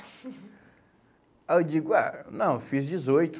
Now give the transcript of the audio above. Aí eu digo, ah, não, fiz dezoito.